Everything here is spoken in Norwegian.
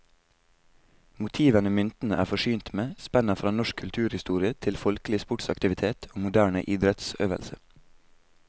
Motivene myntene er forsynt med, spenner fra norsk kulturhistorie til folkelig sportsaktivitet og moderne idrettsøvelse.